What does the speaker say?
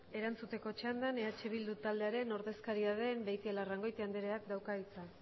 erantzuteko txandan eh bildu taldearen ordezkaria den beitialarrangoitia andreak dauka hitza